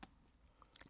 DR2